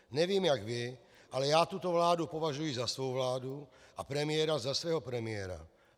Nevím jak vy, ale já tuto vládu považuji za svou vládu a premiéra za svého premiéra.